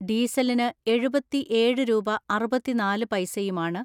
ഡീസലിന് എഴുപതിഏഴ് രൂപ അറുപതിനാല് പൈസയുമാണ്